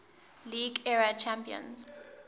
league era champions